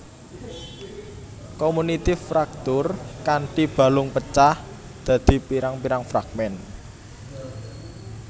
Komunitif fraktur kanthi balung pecah dadi pirang pirang fragmen